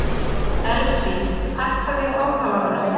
Elsí, hækkaðu í hátalaranum.